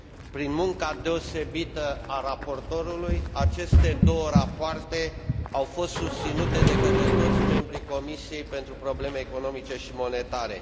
Prin munca deosebită a raportorului, aceste două rapoarte au fost susținute de către toți membrii Comisiei pentru afaceri economice și monetare.